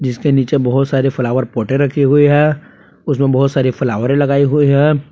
इसके नीचे बहुत सारे फ्लावर पोटें रखी हुई है उसमें बहुत सारी फ्लावरें लगाई हुई है।